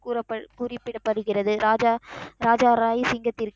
கூறப், குறிப்பிடப்படுகிறது. ராஜா, ராஜா ராய் சிங்கத்திற்கு,